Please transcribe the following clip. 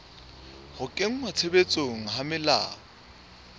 ho kenngwa tshebetsong ha melao